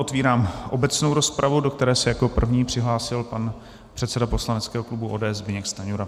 Otvírám obecnou rozpravu, do které se jako první přihlásil pan předseda poslaneckého klubu ODS Zbyněk Stanjura.